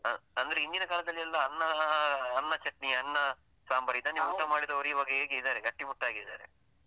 ಹ ಅಂದ್ರೆ ಹಿಂದಿನ ಕಾಲದಲ್ಲಿ ಎಲ್ಲ ಅನ್ನ ಅನ್ನ ಚಟ್ನಿ, ಅನ್ನ ಸಾಂಬಾರ್ ಇದನ್ನೇ ಊಟ ಮಾಡಿದವರು ಇವಾಗ ಹೇಗೆ ಇದ್ದಾರೆ, ಗಟ್ಟಿ ಮುಟ್ಟಾಗಿದ್ದಾರೆ.